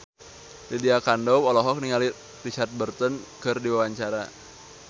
Lydia Kandou olohok ningali Richard Burton keur diwawancara